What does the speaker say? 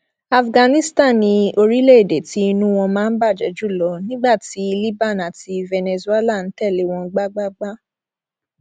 afghanistan ni orílẹèdè tí inú wọn máa ń bàjẹ jù lọ nígbà tí liban àti venezuela ń tẹlé wọn gbágbáágbá